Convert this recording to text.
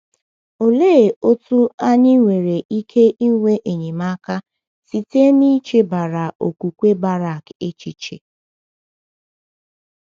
Olee otú anyị nwere ike inwe enyemaka site n’ichebara okwukwe Barak echiche?